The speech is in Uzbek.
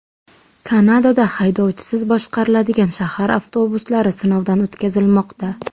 Kanadada haydovchisiz boshqariladigan shahar avtobuslari sinovdan o‘tkazilmoqda .